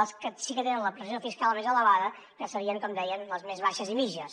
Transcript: les que sí que tenen la pressió fiscal més elevada que serien com dèiem les més baixes i mitjanes